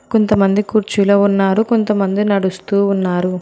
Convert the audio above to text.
కొంతమంది కుర్చీలో ఉన్నారు కొంతమంది నడుస్తూ ఉన్నారు.